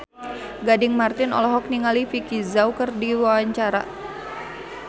Gading Marten olohok ningali Vicki Zao keur diwawancara